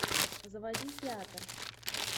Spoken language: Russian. заводи театр